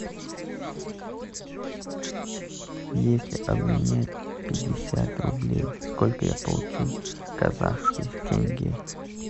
если обменять пятьдесят рублей сколько я получу казахских тенге